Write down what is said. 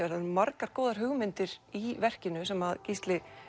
það eru margar góðar hugmyndir í verkinu sem Gísli